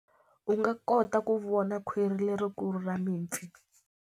U nga kota ku vona khwiri lerikulu ra mipfi.